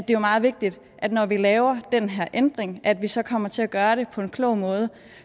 jo meget vigtigt når vi laver den her ændring at vi så kommer til at gøre det på en klog måde